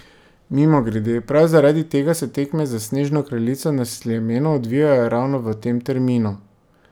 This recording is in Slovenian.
Mimogrede, prav zaradi tega se tekme za Snežno kraljico na Sljemenu odvijajo ravno v tem terminu.